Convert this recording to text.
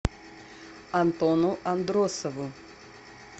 антону андросову